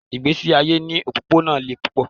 Ìgbésí ayé ní òpópónà le púpọ̀.